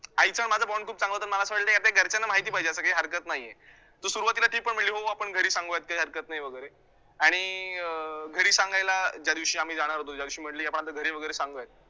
आईचा आणि माझा bond खूप चांगला होता, मला असं वाटलं यात आता घरच्यांना माहिती पाहिजे आता काही हरकतं नाहीये तर सुरुवातीला ती पण म्हंटली हो आपण घरी संगूयात काही हरकत नाही वैगरे आणि अं घरी सांगायला ज्यादिवशी आम्ही जाणार होतो ज्यादिवशी म्हंटली आपण आता घरी वैगरे सांगूयात